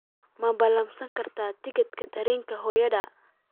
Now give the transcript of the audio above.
ma ballansan kartaa tigidhka tareenka hooyaday